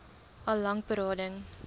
al lank berading